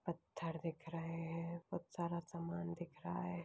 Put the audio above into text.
पत्थर दिख रहे है बहोत सारा समान दिख रहा हैं।